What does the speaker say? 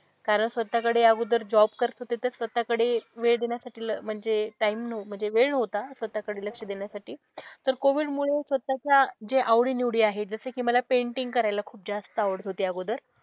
कारण स्वतःकडे अगोदर जॉब करत होते तर स्वतःकडे वेळ देण्यासाठी म्हणजे टाइम नव्ह म्हणजे वेळ नव्हता स्वतःकडे लक्ष देण्यासाठी. तर कोविडमुळे स्वतःच्या ज्या आवडीनिवडी आहेत, जसे कि मला पैंटिंग करायला खूप जास्त आवडत होती अगोदर.